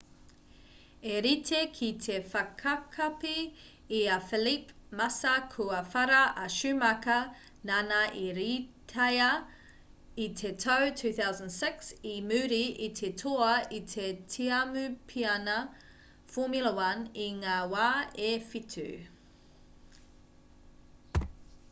i rite ki te whakakapi i a felipe massa kua whara a schumacher nāna i rītaia i te tau 2006 i muri i te toa i te tiamupiana formula 1 i ngā wā e whitu